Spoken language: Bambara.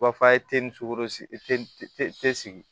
U b'a fɔ a ye teli ni sukoro te sigi